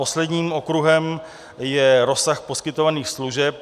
Posledním okruhem je rozsah poskytovaných služeb.